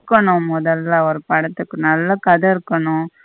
இருக்கனும். முதல்ல ஒரு படத்துக்கு நல்ல கத இருக்கணும்.